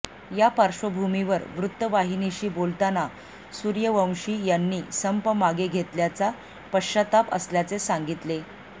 या पार्श्वभूमीवर वृत्तवाहिनीशी बोलताना सूर्यवंशी यांनी संप मागे घेतल्याचा पश्चाताप असल्याचे सांगितले